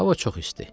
Hava çox isti.